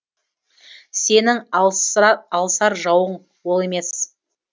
сенің алысар жауың ол емес